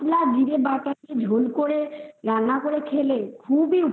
একটু ঝোল করে রান্না করে খেলে খুব এই